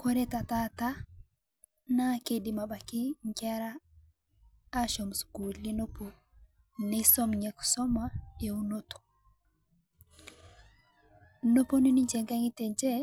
Kore te taata naa keidiim abaki nkeera ashoom sukulii nopoo neisoom enia kisomaa e unoto. Noponuu ninchee ng'ang'etie enchee